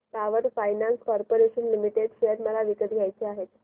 power finance corporation limited share मला विकत घ्यायचे आहेत